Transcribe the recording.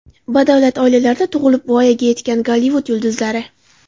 Badavlat oilalarda tug‘ilib, voyaga yetgan Gollivud yulduzlari .